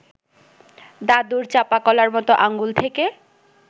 দাদুর চাঁপাকলার মতো আঙুল থেকে